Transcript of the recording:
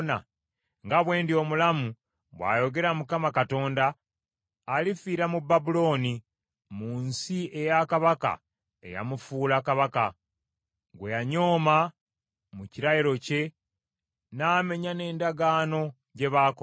“ ‘Nga bwe ndi omulamu, bw’ayogera Mukama Katonda, alifiira mu Babulooni, mu nsi eya kabaka eyamufuula kabaka, gwe yanyooma mu kirayiro kye n’amenya n’endagaano gye baakola.